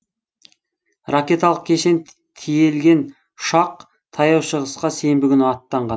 ракеталық кешен тиелген ұшақ таяу шығысқа сенбі күні аттанған